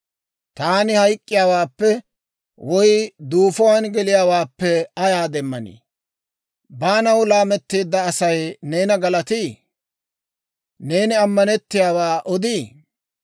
«Taani hayk'k'iyaawaappe woy duufuwaan geliyaawaappe ayaa demmanii? Baanaw laametteedda Asay neena galatii? Neeni ammanettiyaawaa odii?